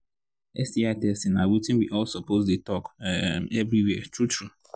sti testing na watin we all suppose they talk um everywhere true true